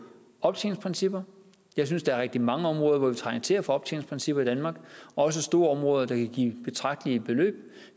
optjeningsprincipper jeg synes der er rigtig mange områder hvor vi trænger til at få optjeningsprincipper i danmark også store områder der kan give betragtelige beløb